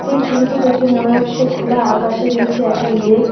এই ছবিটা দেখে মনে হচ্ছে খোলা আকাশের নীচে একটা লেক .